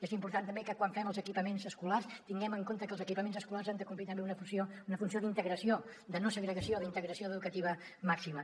és important també que quan fem els equipaments escolars tinguem en compte que els equipaments escolars han de complir també una funció d’integració de no segregació d’integració educativa màxima